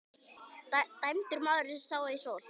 Dæmdur maður sá ei sól.